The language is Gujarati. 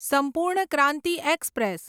સંપૂર્ણ ક્રાંતિ એક્સપ્રેસ